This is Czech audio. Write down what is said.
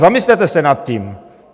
Zamyslete se nad tím.